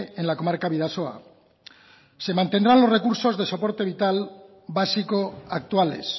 en la comarca bidasoa se mantendrán los recursos de soporte vital básico actuales